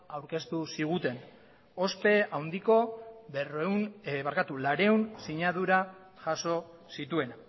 agertu ziguten ospe handiko laurehun sinadura jaso zituenak